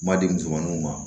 Ma di musomaninw ma